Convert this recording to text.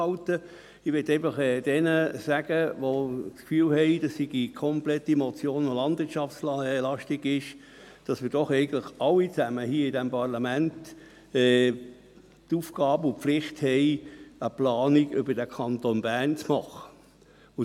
Allen, welche das Gefühl haben, die Motion sei landwirtschaftslastig, möchte ich sagen, dass wir alle hier im Parlament die Aufgabe und Pflicht haben, eine Planung über den Kanton Bern zu machen.